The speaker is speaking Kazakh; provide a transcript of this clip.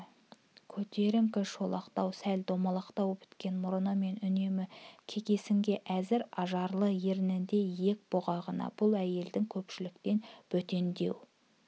көтеріңкі шолақтау сәл домалақтау біткен мұрны мен үнемі кекесінге әзір ажарлы ернінде иек бұғағында бұл әйелдің көпшіліктен бөтендеу